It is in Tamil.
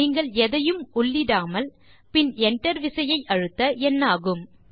நீங்கள் எதையும் உள்ளிடாமல் பின் என்டர் விசையை அழுத்த என்ன ஆகும்